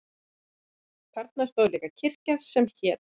Þarna stóð líka kirkja sem hét